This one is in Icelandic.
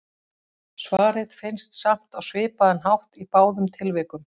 Svarið finnst samt á svipaðan hátt í báðum tilvikum.